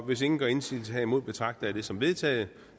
hvis ingen gør indsigelse herimod betragter jeg det som vedtaget